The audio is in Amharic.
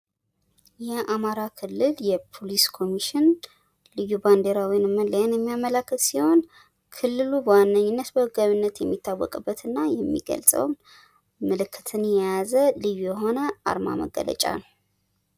የአማራ ክልል ፖሊስ ኮሚሽን አርማን የሚያመለክት ሲሆን ክልሉ በዋነኝነት በሰላም የሚታወቅበትን ምልክት የያዘ ልዩ የሆነ መገለጫ ነው ።